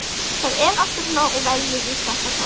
Það er alltaf svona og verður víst alltaf svona.